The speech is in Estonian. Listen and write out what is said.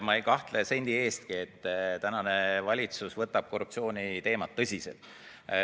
Ma ei kahtle sendi eestki, et tänane valitsus võtab korruptsiooni teemat tõsiselt.